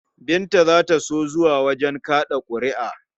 Binta za ta so zuwa wajen kaɗa ƙuri'a.